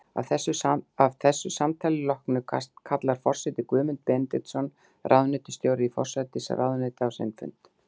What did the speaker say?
Að þessu samtali loknu kallar forseti Guðmund Benediktsson, ráðuneytisstjóra í forsætisráðuneyti, á sinn fund.